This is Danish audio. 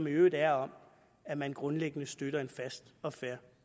i øvrigt er om at man grundlæggende støtter en fast og fair